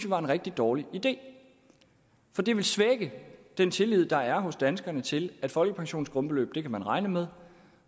var en rigtig dårlig idé for det vil svække den tillid der er hos danskerne til at folkepensionens grundbeløb kan man regne med